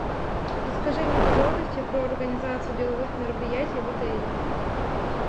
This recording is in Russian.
расскажи мне подробности про организацию деловых мероприятий в отеле